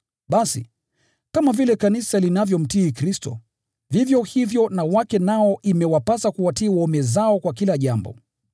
Basi, kama vile Kanisa linavyomtii Kristo, vivyo hivyo na wake nao imewapasa kuwatii waume zao kwa kila jambo.